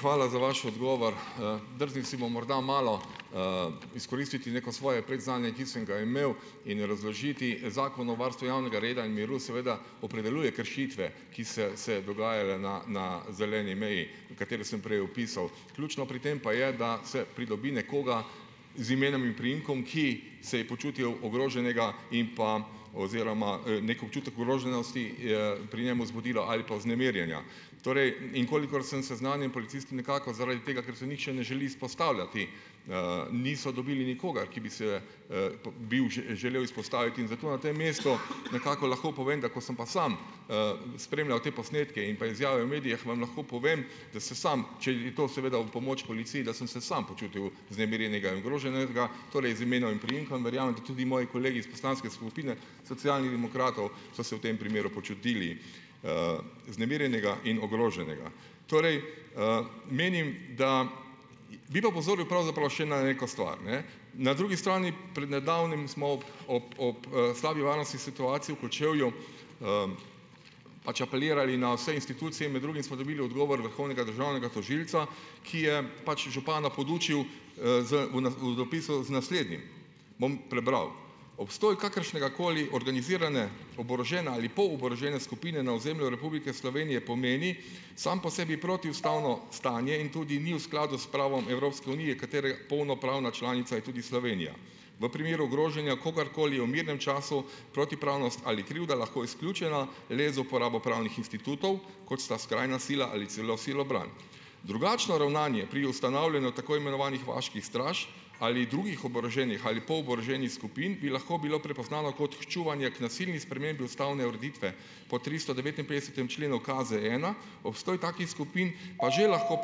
Hvala za vaš odgovor. Drznil si bom morda malo, izkoristiti neko svoje predznanje, ki sem ga imel, in razložiti, Zakon o varstvu javnega reda in miru, seveda, opredeljuje kršitve, ki so se dogajale na na zeleni meji, katero sem prej opisal. Ključno pri tem pa je, da se pridobi nekoga z imenom in priimkom, ki se je počutil ogroženega in pa, oziroma, neki občutek ogroženosti, pri njem zbudilo ali pa vznemirjenja. Torej, in kolikor sem seznanjen, policisti nikakor zaradi tega, ker se nihče ne želi izpostavljati, niso dobili nikogar, ki bi se, bil želel izpostaviti, in zato na tem mestu nekako lahko povem, da ko sem pa sam, spremljal te posnetke in pa izjave v medijih, vam lahko povem, da se sam, če je to seveda v pomoč policiji, da sem se sam počutil vznemirjenega in ogroženega, torej, z imenom in priimkom. Verjamem, da tudi moji kolegi iz poslanske skupine Socialnih demokratov, so se v tem primeru počutili, vznemirjene in ogrožene. Torej, menim da, bi pa opozoril pravzaprav še na neko stvar, ne, na drugi strani, pred nedavnim smo ob ob ob, slabi varnostni situaciji v Kočevju, pač apelirali na vse institucije in med drugim smo dobili odgovor vrhovnega državnega tožilca, ki je pač župana podučil, z u na v zapisu, z naslednjim, bom prebral: "Obstoj kakršnegakoli organizirane, oborožene ali poloborožene skupine na ozemlju Republike Slovenije pomeni, samo po sebi protiustavno stanje in tudi ni v skladu s pravom Evropske unije, katere polnopravna članica je tudi Slovenija. V primeru ogrožanja kogarkoli je v mirnem času protipravnost ali krivda lahko izključena le za uporabo pravnih institutov, kot sta skrajna sila ali celo silobran. Drugačno ravnanje pri ustanavljanju tako imenovanih vaških straž ali drugih oboroženih ali poloboroženih skupin bi lahko bilo prepoznano kot ščuvanje k nasilni spremembi ustavne ureditve po tristodevetinpetdesetem členu KZena, obstoj takih skupin pa že lahko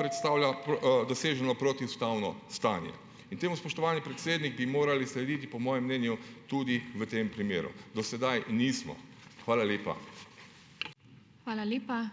predstavlja doseženo protiustavno stanje." In temu, spoštovani predsednik, bi morali slediti po mojem mnenju tudi v tem primeru. Do sedaj nismo. Hvala lepa.